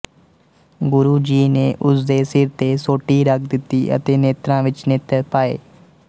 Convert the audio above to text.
ਗੁਰੂ ਜੀ ਨੇ ਉਸ ਦੇ ਸਿਰ ਤੇ ਸੋਟੀ ਰੱਖ ਦਿੱਤੀ ਅਤੇ ਨੇਤਰਾਂ ਵਿੱਚ ਨੇਤਰ ਪਾਏ